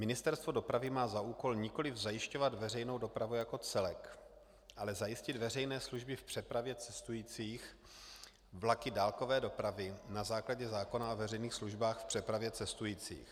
Ministerstvo dopravy má za úkol nikoliv zajišťovat veřejnou dopravu jako celek, ale zajistit veřejné služby v přepravě cestujících vlaky dálkové dopravy na základě zákona o veřejných službách v přepravě cestujících.